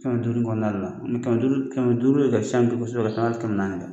Kɛmɛ duuru in kɔnɔna la ni kɛmɛ duuru kɛmɛ duuru de ka ca bi kosɛbɛ ka tɛmɛ ali kɛmɛ naani kan